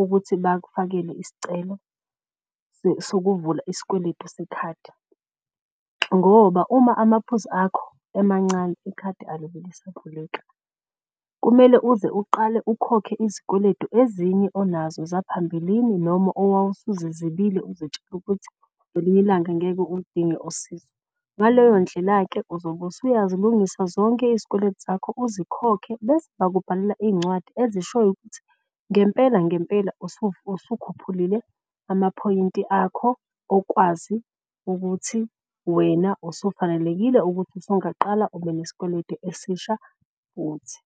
ukuthi bakufakele isicelo sokuvulwa isikweletu sekhadi. Ngoba uma amaphuzu akho emancane ikhadi alibe lisavuleka kumele uze uqale ukhokhe izikweletu ezinye onazo zaphambilini noma owawusuzizibile uzitshela ukuthi ngelinye ilanga ngeke uludinge usizo. Ngaleyo ndlela-ke uzobe usuyazilungisa zonke izikweletu zakho, uzikhokhe. Bese bakubhalela iy'ncwadi ezishoyo ukuthi ngempela ngempela usukhuphulile amaphoyinti akho okwazi ukuthi wena usufanelekile ukuthi usungaqala ube nesikweletu esisha futhi.